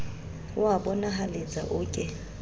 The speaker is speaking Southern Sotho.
o a bonahaletsa o ke